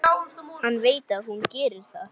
Hann veit að hún gerir það.